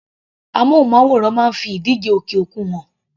Amúnmáwòrán máa ń fi ìdíje òkè òkun hàn.